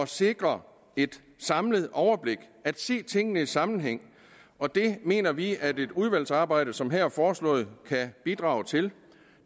sikre et samlet overblik at se tingene i sammenhæng og det mener vi at et udvalgsarbejde som det her foreslåede kan bidrage til